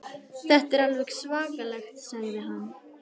Þetta er alveg svakalegt sagði hann.